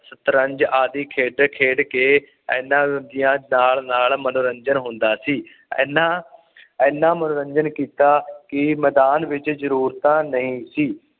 ਸ਼ਤਰੰਜ ਆਦਿ ਖੇਡ ਖੇਡਕੇ ਏਨਾ ਵਧੀਆ ਦਾਲ ਨਾਲ ਮਨੋਰੰਜਨ ਹੁੰਦਾ ਸੀ ਐਨਾ ਐਨਾ ਮਨੋਰੰਜਨ ਕੀਤਾ ਕਿ ਮੈਦਾਨ ਵਿੱਚ ਜਰੂਰਤਾਂ ਨਹੀਂ ਸੀ